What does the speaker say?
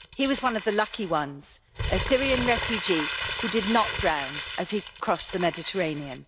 He was one of the lucky ones a Syrian refugee who did not drown as he crossed the Mediterranean.